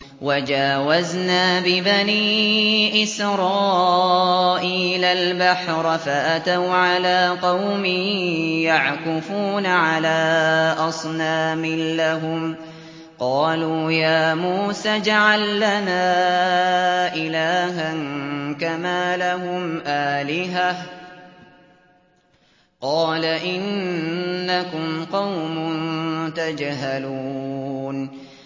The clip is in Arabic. وَجَاوَزْنَا بِبَنِي إِسْرَائِيلَ الْبَحْرَ فَأَتَوْا عَلَىٰ قَوْمٍ يَعْكُفُونَ عَلَىٰ أَصْنَامٍ لَّهُمْ ۚ قَالُوا يَا مُوسَى اجْعَل لَّنَا إِلَٰهًا كَمَا لَهُمْ آلِهَةٌ ۚ قَالَ إِنَّكُمْ قَوْمٌ تَجْهَلُونَ